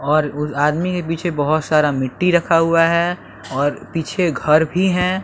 और आदमी के पीछे बहुत सारा मिट्टी रखा हुआ है और पीछे घर भी हैं।